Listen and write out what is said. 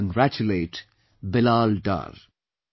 I congratulate Bilal Dar